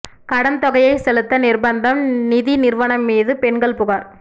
கடன் தொகையை செலுத்த நிா்பந்தம் நிதி நிறுவனம் மீது பெண்கள் புகாா்